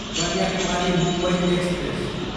Kanyakumari, Mumbai express